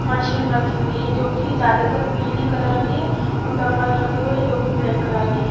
Machine रखी हुई है जो की ज्यादातर पिली कलर की है और डम्बल जो की ब्लैक कलर के है।